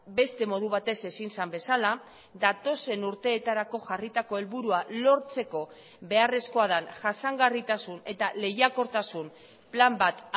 beste modu batez ezin zen bezala datozen urteetarako jarritako helburua lortzeko beharrezkoa den jasangarritasun eta lehiakortasun plan bat